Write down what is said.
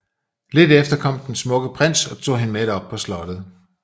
Lidt efter kom den smukke prins og tog hende med op på slottet